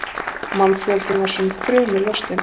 Mannfjöldinn var sem þrumu lostinn.